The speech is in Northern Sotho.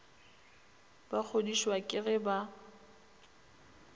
ba kgodišwa ke ge ba